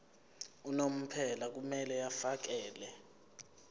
unomphela kumele afakele